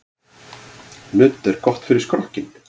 Nudd er gott fyrir skrokkinn.